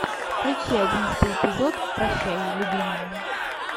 включи одиннадцатый эпизод прощай любимая